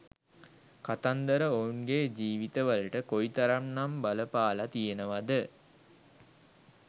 කතන්දර ඔවුන්ගේ ජීවිතවලට කොයිතරම් නම් බලපාල තියෙනවද